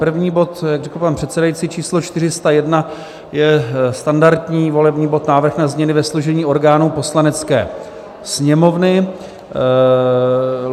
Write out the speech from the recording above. První bod, jak řekl pan předsedající, číslo 401, je standardní volební bod, návrh na změny ve složení orgánů Poslanecké sněmovny.